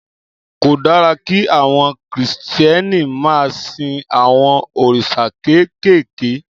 Kò dára kí àwọn kìristíèni ma sin awõn orísà kékékè.